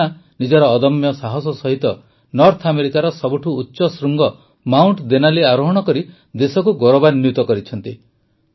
ପୂର୍ଣ୍ଣା ନିଜର ଅଦମ୍ୟ ସାହସ ସହିତ ନର୍ଥ ଆମେରିକାର ସବୁଠୁ ଉଚ୍ଚ ଶୃଙ୍ଗ ମାଉଂଟ ଦେନାଲି ଆରୋହଣ କରି ଦେଶକୁ ଗୌରବାନ୍ୱିତ କରିଛନ୍ତି